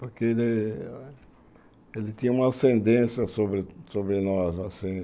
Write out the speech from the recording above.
Porque ele ele tinha uma ascendência sobre sobre nós, assim.